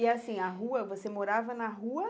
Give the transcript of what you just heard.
E assim, a rua, você morava na rua?